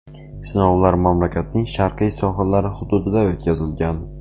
Sinovlar mamlakatning sharqiy sohillari hududida o‘tkazilgan.